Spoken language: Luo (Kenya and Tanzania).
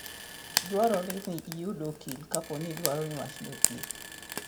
Dwarore ni iyud okil kapo ni idwaro ni wachni otiek.